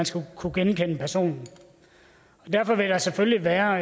skal kunne genkendes og derfor vil der selvfølgelig være